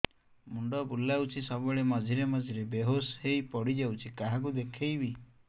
ମୁଣ୍ଡ ବୁଲାଉଛି ସବୁବେଳେ ମଝିରେ ମଝିରେ ବେହୋସ ହେଇ ପଡିଯାଉଛି କାହାକୁ ଦେଖେଇବି